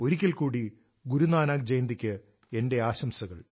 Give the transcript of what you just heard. ഒരിക്കൽ കൂടി ഗുരു നാനക്ക് ജയന്തിക്ക് എന്റെ ആശംസകൾ